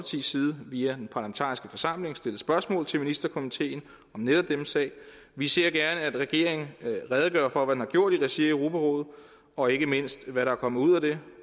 side via den parlamentariske forsamling stillet spørgsmål til ministerkomiteen om netop denne sag vi ser gerne at regeringen redegør for hvad den har gjort i regi af europarådet og ikke mindst hvad der er kommet ud af det